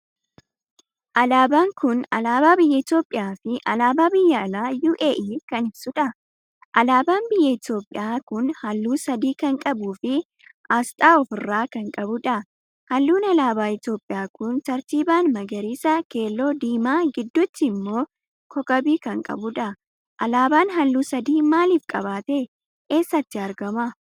Alaabaa kun alaabaa biyya Itoophiyaa fi alaabaa biyya alaa UAE kan ibsuudha. Alaabaan biyyaa Itoophiyaa kun halluu sadii kan qabuufi asxaan ofiirraa kan qabuudha. Halluun alaabaa Itoophiyaa kun tartiiban magariisa, keelloo, diimaa gidduutti immoo kookabii kan qabuudha. Alaabaan halluu sadii maaliif qabaate? eessatti argama?